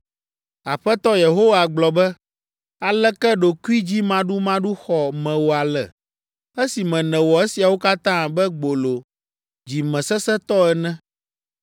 Aƒetɔ Yehowa gblɔ be, “Aleke ɖokuidzimaɖumaɖu xɔ mewò ale, esime nèwɔ esiawo katã abe gbolo dzimesesẽtɔ ene!